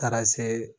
Taara se